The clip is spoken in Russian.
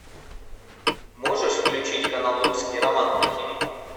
можешь включить канал русский роман на тв